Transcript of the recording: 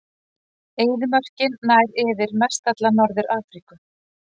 Eyðimörkin nær yfir mestalla Norður-Afríku.